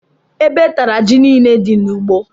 Ébé tara jị niile dị n'ugbó.